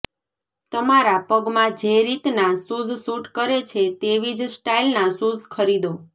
તમારા પગમાં જે રીતના શૂઝ સૂટ કરે છે તેવી જ સ્ટાઈલના શૂઝ ખરીદો